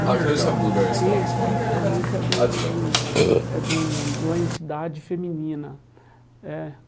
A encruzilhada de tê, geralmente é de um de um é de um de uma entidade feminina é.